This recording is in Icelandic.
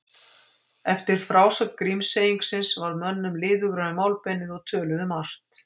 Eftir frásögn Grímseyingsins varð mönnum liðugra um málbeinið og töluðu margt.